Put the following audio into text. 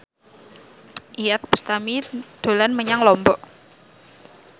Iyeth Bustami dolan menyang Lombok